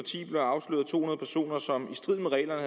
og som i strid med reglerne